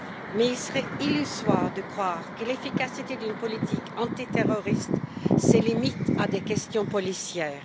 Mais il serait illusoire de croire que l'efficacité d'une politique antiterroriste se limite à des questions policières.